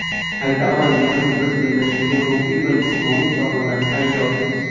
Ayta oladiganim biz bellashuvga ruhiy va jismoniy tomondan tayyormiz.